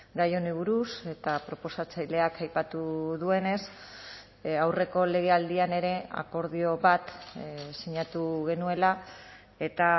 gai honi buruz eta proposatzaileak aipatu duenez aurreko legealdian ere akordio bat sinatu genuela eta